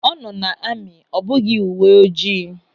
Ọ nọ na amị ọ bụghị uwe ojii.